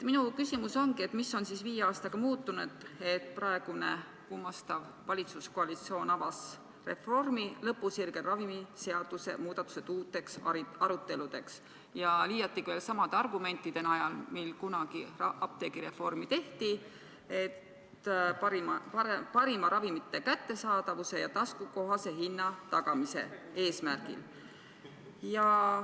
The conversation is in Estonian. Minu küsimus on: mis on viie aastaga muutunud, et praegune kummastav valitsuskoalitsioon avas reformi lõpusirgel ravimiseaduse muudatused uuteks aruteludeks, liiatigi veel samade argumentidega, millega kunagi apteegireformi alustati – tagada parim ravimite kättesaadavus ja taskukohane hind?